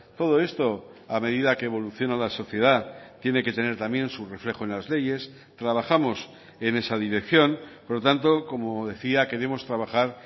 todo esto a medida que evoluciona la sociedad tiene que tener también su reflejo en las leyes trabajamos en esa dirección por lo tanto como decía queremos trabajar